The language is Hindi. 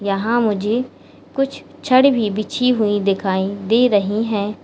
यहां मुझे कुछ छड़ भी बिछी हुई दिखाई दे रही है।